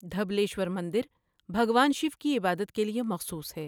دھبلیشور مندر بھگوان شیو کی عبادت کے لیے مخصوص ہے۔